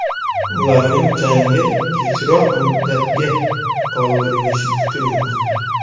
Ularning jangi kechroq muddatga qoldirilishi kutilmoqda.